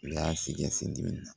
U y'a sikɛ sin dimina